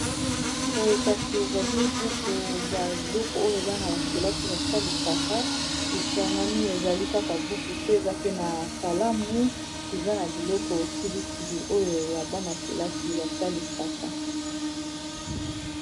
Boye kasi ezali buku ba biloko oyo bana bakelasi basalisaka esangani ezali kaka buku te eza pe na kalamu eza na biloko kili kili oyo ya bana-kelasi basalisaka.